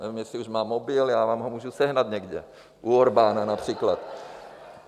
Nevím, jestli už má mobil, já vám ho můžu sehnat někde, u Orbána například.